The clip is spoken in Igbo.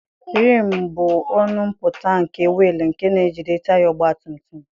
Rimụ bụ ọnụ mpụta nke wiil nke na-ejide taya ọgbatumutum.